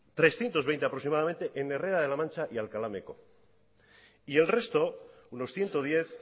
trescientos veinte aproximadamente en herrera de la mancha y alcalá meco y el resto unos ciento diez